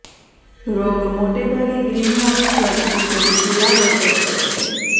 રોગ મોટે ભાગે ગ્રીનહાઉસ વધતી જતી ગુલાબ અસર કરે છે